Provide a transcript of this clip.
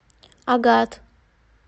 агат